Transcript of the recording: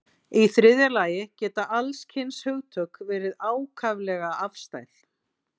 Í þriðja lagi geta alls kyns hugtök verið ákaflega afstæð.